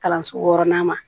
Kalanso wɔɔrɔnan ma